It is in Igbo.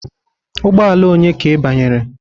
Ụgbọ ala onye ka ị banyere?